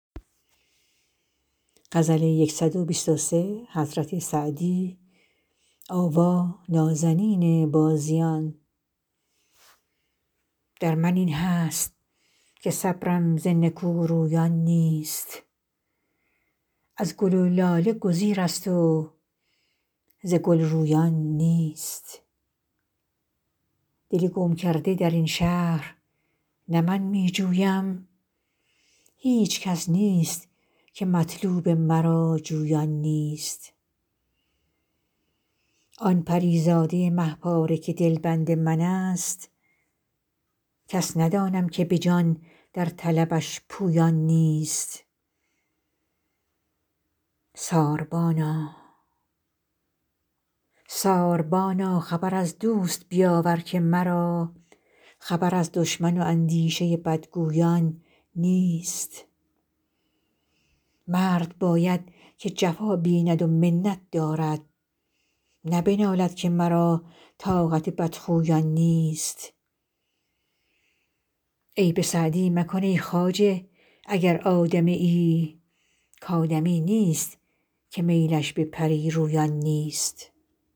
در من این هست که صبرم ز نکورویان نیست از گل و لاله گزیرست و ز گل رویان نیست دل گم کرده در این شهر نه من می جویم هیچ کس نیست که مطلوب مرا جویان نیست آن پری زاده مه پاره که دلبند من ست کس ندانم که به جان در طلبش پویان نیست ساربانا خبر از دوست بیاور که مرا خبر از دشمن و اندیشه بدگویان نیست مرد باید که جفا بیند و منت دارد نه بنالد که مرا طاقت بدخویان نیست عیب سعدی مکن ای خواجه اگر آدمیی کآدمی نیست که میلش به پری رویان نیست